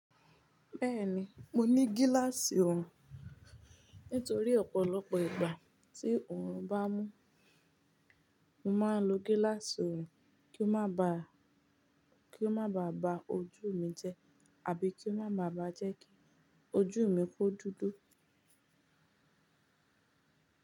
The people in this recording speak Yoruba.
Bẹ́ẹ̀ni, mo ní gíláàsì oorun. Nítorí ọ̀pọ̀lọpọ̀ ìgbà tí oorun bá mú, mo máa ń lo gíláàsì oorun kí ó má ba, kí ó má ba ba ojú mi jẹ, àbí kí ó má ba jẹ́ kí ojú mi kó dúdú.